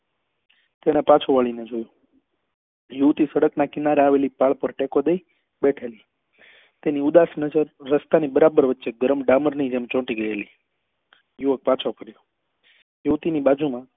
તેને પાછું વળી ને જોયું તે યુવતી સડક ના કિનારે આવેલી પાલ પર ટેકો દઈ બેઠેલી તેની ઉદાસ નજર રસ્તા ની બરાબર વચ્ચે ગરમ ડામર ની જેમ ચોંટી ગયેલી યુવક પાછો ફર્યો યુવતી ની બાજુ માં